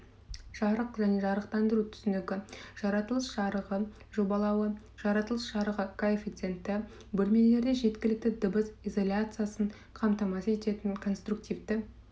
жарық және жарықтандыру түсінігі жаратылыс жарығы жобалауы жаратылыс жарығы коэффициенті бөлмелерде жеткілікті дыбыс изоляциясын қамтамасыз ететін конструктивті